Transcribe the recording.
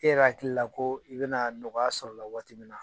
E yɛrɛ hakili la ko i bɛna nɔgɔya sɔrɔ la waati min na